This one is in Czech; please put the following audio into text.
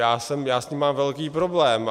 Já s tím mám velký problém.